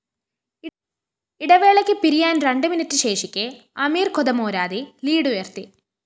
ഇടവേളയ്ക്കു പിരിയാന്‍ രണ്ട് മിനിറ്റ് ശേഷിക്കെ അമീര്‍ ഖൊദമോരാദി ലീഡുയര്‍ത്തി